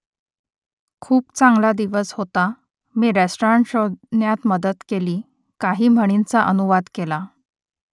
खूप चांगला दिवस होता . मी रेस्टॉरंट शोधण्यात मदत केली . काही म्हणींचा अनुवाद केला